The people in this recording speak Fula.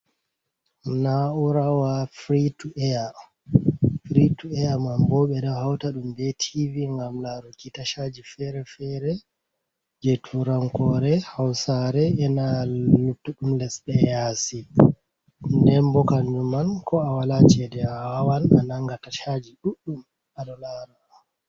Na'urawa fri ti'eya. Fri tu’eya manbo ɓeɗo hauta ɗum be tivi gam laruki tashaji fere-fere je turankore, hausare, ena luttuɗum lesde yasi. Denbo kanjumman ko a wala chede a wawan a nanga tashaji ɗuɗɗum aɗo lara.